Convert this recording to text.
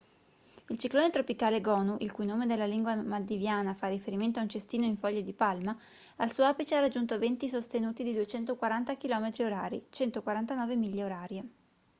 il ciclone tropicale gonu il cui nome nella lingua maldiviana fa riferimento a un cestino in foglie di palma al suo apice ha raggiunto venti sostenuti di 240 chilometri orari 149 miglia orarie